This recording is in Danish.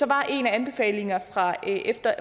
var en af anbefalingerne